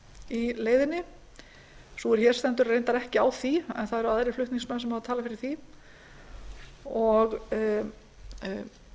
í leiðinni sú er hér stendur er reyndar ekki á því en það eru aðrir flutningsmenn sem hafa talað fyrir því